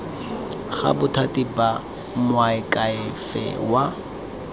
ga bothati ba moakhaefe wa